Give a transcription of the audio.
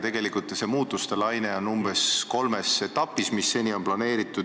Tegelikult on muutustelaine plaanitud umbes kolmes etapis.